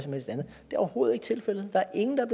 overhovedet ikke tilfældet der er ingen der